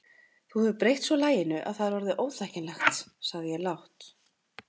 Þú hefur breytt svo laginu að það er orðið óþekkjanlegt sagði ég lágt.